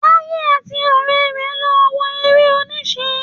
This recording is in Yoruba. Táyé àti ọ̀rẹ́ rẹ lọ wo eré-oníṣe.